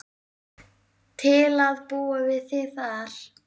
Til að búa við þig þar.